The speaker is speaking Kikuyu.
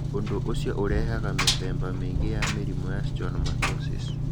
Ũndũ ũcio nĩ ũrehaga mĩthemba mĩingĩ ya mĩrimũ ya schwannomatosis.